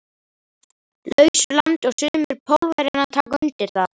lausu landi og sumir Pólverjanna taka undir það.